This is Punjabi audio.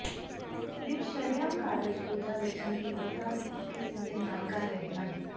ਵਿੱਚ ਸ਼ਰੇਆਮ ਕਾਰਜ ਕੋਝਾ ਲੱਛਣ ਤੀਬਰਤਾ ਦੀ ਇੱਕ ਕਿਸਮ ਦੇ ਨਾਲ ਕਰ ਰਹੇ ਹਨ